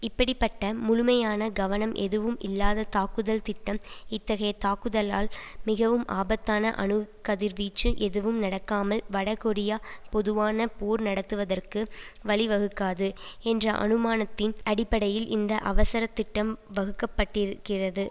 இப்படி பட்ட முழுமையான கவனம் எதுவும் இல்லாத தாக்குதல் திட்டம் இத்தகைய தாக்குதல்லால் மிகவும் ஆபத்தான அணுக்கதிர்வீச்சு எதுவும் நடக்காமல் வடகொரியா பொதுவான போர் நடத்துவதற்கு வழிவகுக்காது என்ற அனுமானத்தின் அடிப்படையில் இந்த அவசரத் திட்டம் வகுக்கப்பட்டிருக்கிறது